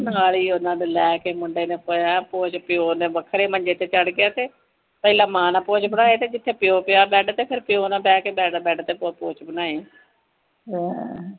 ਮਨਾਲੀ ਉਨ੍ਹਾਂ ਲੈ ਕੇ ਮੁੰਡੇ ਨੇ ਪੈ ਪੋਚ ਪਿਉ ਦੇ ਵਖਰੇ ਮੰਜੇ ਚੜ੍ਹ ਗਿਆ ਤੇ ਪਹਿਲੇ ਮਾਂ ਨਾਲ ਪੋਚ ਬਾਣੇ ਜਿਥੇ ਪਿਓ ਪਿਆ ਬੈਡ ਤੇ ਫੇਰ ਪੀਉ ਨਾਲ ਬਹਿ ਕੇ ਬਾਅਦ ਬੈਡ ਤੇ ਪੋਚ ਬਨਾਹੇ